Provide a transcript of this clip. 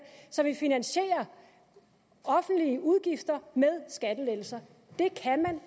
som ville finansiere offentlige udgifter med skattelettelser det kan man